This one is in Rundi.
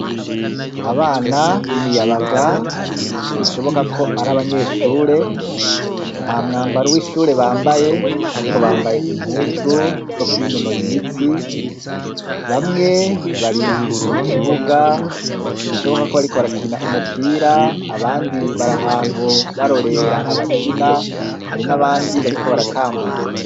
Abana b'imiyabaga, bishoboka ko ari abanyeshure, nta mwambaro w'ishure bambaye ariko bambaye impuzu zo kwinonora imitsi, bamwe bari mu kibuga bishoboka ko bariko barakina umupira abandi bari ahantu barorera abakina, hari n'abandi bariko baratambuka.